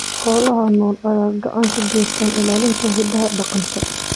Xoolaha nool ayaa gacan ka geysta ilaalinta hidaha dhaqanka.